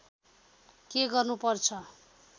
के गर्नु पर्छ